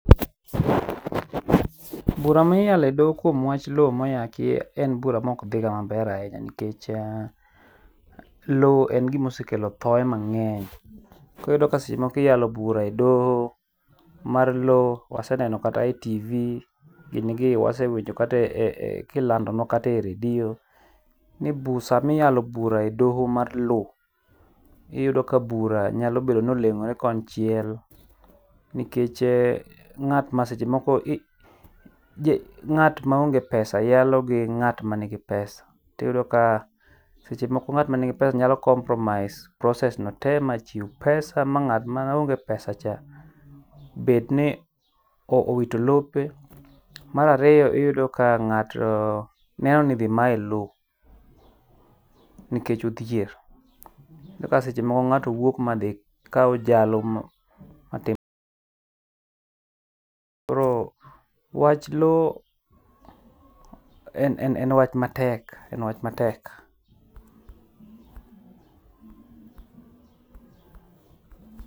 Bura ma iyalo e doho kuom lowo ma oyaki en bura ma ok dhiga maber ahinya, nikech lowo en gima osekelo thoye mang'eny koro ka seche moko iyalo bura e doho mar lowo waseneno kata e TV ginigi, wasewinjo kata kilando nua kata e redio, ni bura sama iyalo bura e doho mar lowo iyudo ka bura nyalo bedo ni oleng'ore kon chiel nikech en ng'at ma seche moko ng'at maonge pesa yalo gi ng'at manigi pesa. To iyudo ka seche moko ng'at mani gi pesa nyalo compromise process no te machiw pesa mang'at maonge pesa cha bed ni owito lope. Mar ariyo iyudo ka ng'ato neno dhi maye lowo nikech odhier, ma seche ma ng'ato wuok madhi kawo jalo matimo biro wach lowo en en wach matek en wach matek.